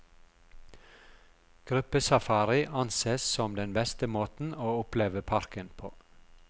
Gruppesafari anses som den beste måten å oppleve parken på.